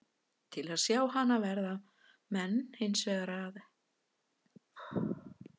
Til að sjá hana verða menn hins vegar helst að styðjast við kort.